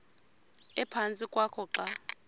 ephantsi kwakho xa